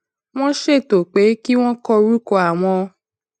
wón ṣètò pé kí wón kọ orúkọ àwọn